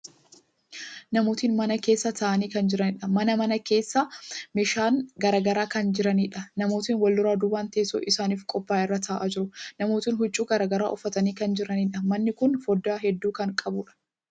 Namootni mana keessa taa'anii kan jiraniidha. Mana kana keessa meeshaalen garagaraa kan jiraniidha. Namootni wlduraa duuban teessoo isaanif qophaa'e irra taa'aa jiru. Namootni huccuu garagaraa uffatanii kan jiraniidha. Manni kuni foddaa hedduu kan qabuudha.